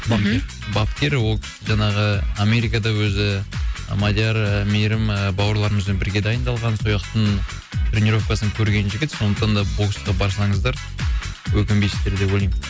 мхм бапкер ол жаңағы америкада өзі мадияр ііі мейірім бауырларымызбен бірге дайындалған сол жақтың тренеровкасын көрген жігіт сондықтан да боксқа барсаңыздар өкінбейсіздер деп ойлаймын